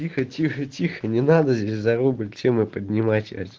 тихо-тихо-тихо не надо здесь за рубль тему поднимать сейчас